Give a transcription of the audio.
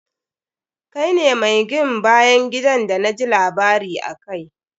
Kai ne mi gin bayan gidan d na ji labari akai.